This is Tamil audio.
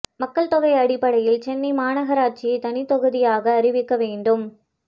மக்கள் தொகை அடிப்படையில் சென்னை மாநகராட்சியை தனித் தொகுதியாக அறிவிக்க வேண்டும்